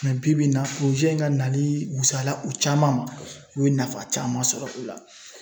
Mɛ bibi in na in ka nali wusaya la u caman ma, u ye nafa caman sɔrɔ o la .